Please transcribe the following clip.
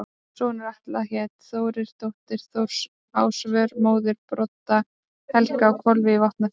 Sonur Atla hét Þórir, dóttir Þóris Ásvör, móðir Brodd-Helga á Hofi í Vopnafirði.